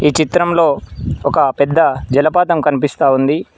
ఈ చిత్రంలో ఒక పెద్ద జలపాతం కనిపిస్తా ఉంది.